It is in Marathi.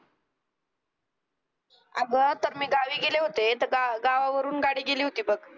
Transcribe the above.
अगं तर गावी गेले होते तर गावावरून गाडी गेली होती बघ